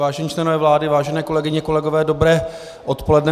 Vážení členové vlády, vážené kolegyně, kolegové, dobré odpoledne.